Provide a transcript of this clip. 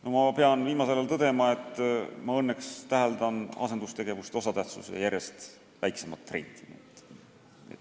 Viimasel ajal pean ma küll tõdema, et ma õnneks täheldan asendustegevuse osatähtsuse järjest väiksemaks muutumist.